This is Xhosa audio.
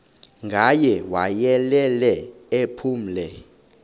ngaye wayelele ephumle